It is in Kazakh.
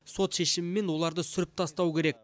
сот шешімімен оларды сүріп тастау керек